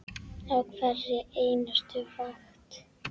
Á hverri einustu vakt.